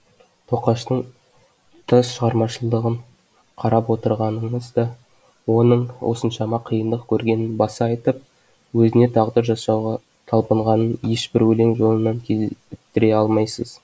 тоқаштың тұтас шығармашылығын қарап отырғаныңыз да оның осыншама қиындық көргенін баса айтып өзіне тағдыр жасауға талпынғанын ешбір өлең жолынан кезіктіре алмайсыз